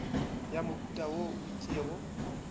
ya mohuta wo o itšego